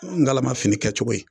Ngalama fini kɛcogo ye